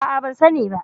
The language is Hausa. A'a, ban sani ba.